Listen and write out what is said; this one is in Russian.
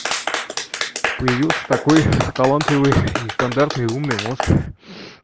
появился такой талантливый нестандартный умный мозг